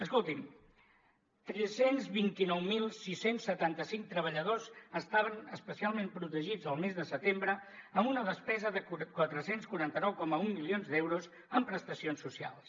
escoltin tres cents i vint nou mil sis cents i setanta cinc treballadors estaven especialment protegits el mes de setembre amb una despesa de quatre cents i quaranta nou coma un milions d’euros en prestacions socials